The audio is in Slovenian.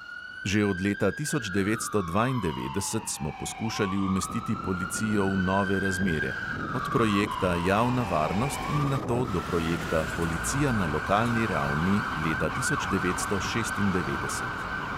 Že od leta tisoč devetsto dvaindevetdeset smo poskušali umestiti policijo v nove razmere, od projekta javna varnost in nato do projekta policija na lokalni ravni leta tisoč devetsto šestindevetdeset.